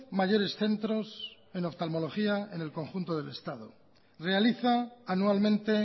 mayores centros en oftalmología en el conjunto del estado realiza anualmente